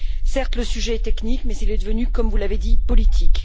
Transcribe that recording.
Certes, le sujet est technique, mais il est devenu, comme vous l'avez dit, politique.